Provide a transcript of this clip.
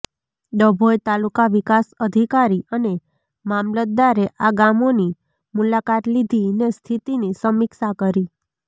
ડભોઈ તાલુકા વિકાસ અધિકારી અને મામલતદારે આ ગામોની મુલાકાત લીધીને સ્થિતિની સમિક્ષા કરી